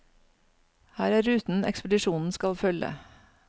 Her er ruten ekspedisjonen skal følge.